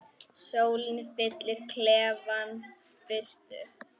Sólin fyllir klefann birtu.